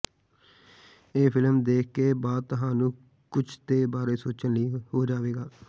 ਇਹ ਫਿਲਮ ਦੇਖ ਕੇ ਬਾਅਦ ਤੁਹਾਨੂੰ ਕੁਝ ਦੇ ਬਾਰੇ ਸੋਚਣ ਲਈ ਹੋ ਜਾਵੇਗਾ